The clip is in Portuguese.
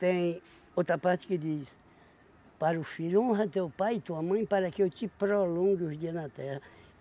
Tem outra parte que diz, para o filho honra teu pai e tua mãe para que eu te prolongue os dias na terra.